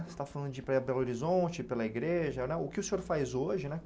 Você está falando de ir para Belo Horizonte, pela igreja né, o que o senhor faz hoje, né?